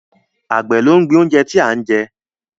Àgbẹ̀ ló ń gbin ohun tí a ń jẹ